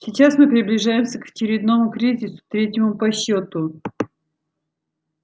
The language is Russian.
сейчас мы приближаемся к очередному кризису третьему по счёту